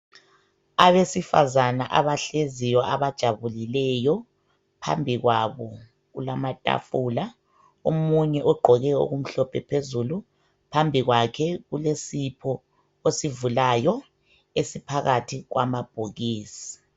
Abesifazana abahleziyo abajabulileyo ,phambikwabo kulamathafula. Omunye ogqoke okumhlophe phezulu phambikwakhe kulesipho osivulayo esiphakathi kwamabhokisi.